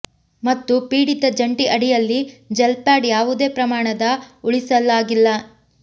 ಮತ್ತು ಪೀಡಿತ ಜಂಟಿ ಅಡಿಯಲ್ಲಿ ಜೆಲ್ ಪ್ಯಾಡ್ ಯಾವುದೇ ಪ್ರಮಾಣದ ಉಳಿಸಲಾಗಿಲ್ಲ